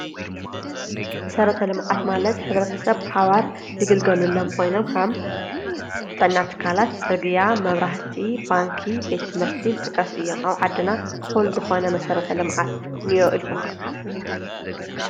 መሰረተ ልምዓት ማለት ኅብረተሰብ ብሓባር ዝግልገለሎም ኾይኖም ከም ጥዕና ትካላት፣ ጽርግያ፣ መብራህቲ፣ ባንኪ፣ ቤት ትምህርቲ ይጥቀሱ እዮም። ኣብ ዓድና እዂል ዝኾነ መሰረተ ልምዓት እንእዮ ኢልኹም ዶ ትሓስቡ?